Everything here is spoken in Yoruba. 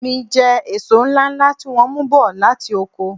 M jẹ èso ńláńlá tí wọ́n mú bọ̀ láti oko.